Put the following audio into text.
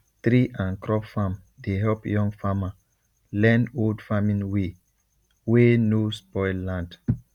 tree and crop farm dey help young farmer learn old farming way wey no spoil land